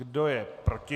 Kdo je proti?